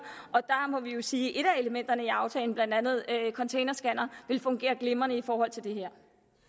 der må vi sige at et af elementerne i aftalen blandt andet containerscanner vil fungere glimrende i forhold til det her